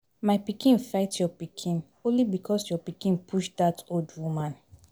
My pikin fight your pikin only because your pikin push dat old woman